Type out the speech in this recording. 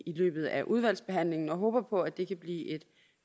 i løbet af udvalgsbehandlingen og vi håber på at det kan blive et